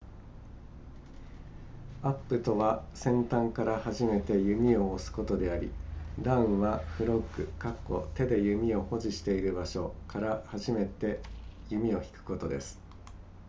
アップとは先端から始めて弓を押すことでありダウンはフロッグ手で弓を保持している場所から始めて弓を引くことです